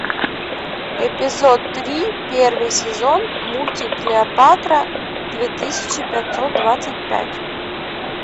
эпизод три первый сезон мультик клеопатра две тысячи пятьсот двадцать пять